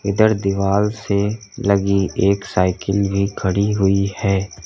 इधर दिवाल से लगी एक साइकिल भी खड़ी हुई है।